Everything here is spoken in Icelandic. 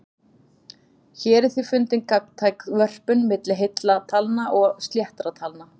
Hér er því fundin gagntæk vörpun milli heilla talna og sléttra talna.